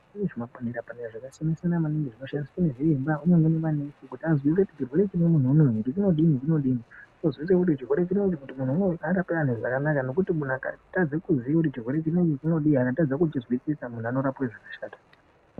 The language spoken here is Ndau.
Kune zvimapanera panera zvakasiyana siyana zvinoshandiswa maningi ngezienza zvakagadzirwe kuti munhu uyu unodi unodiii ozwise kuti chirwere chineChi munhu unowu arange ane zvakanaka nenkuti munhu Akatadze kuziye kuti chirwere chinechi vhinodiii akatadze kuchizwisisa anorapwe zvakashata.